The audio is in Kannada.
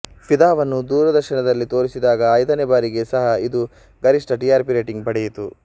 ಫಿದಾವನ್ನು ದೂರದರ್ಶನದಲ್ಲಿ ತೋರಿಸಿದಾಗ ಐದನೇ ಬಾರಿಗೆ ಸಹ ಇದು ಗರಿಷ್ಠ ಟಿಆರ್ಪಿ ರೇಟಿಂಗ್ ಪಡೆಯಿತು